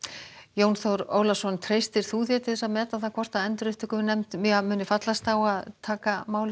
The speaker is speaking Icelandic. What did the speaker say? Jón Þór Ólason treystirðu þér til að meta hvort endurupptökunefnd muni fallast á að taka málið